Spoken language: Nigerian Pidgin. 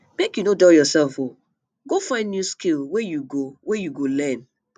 make you no dull yoursef o go find new skill wey you go wey you go learn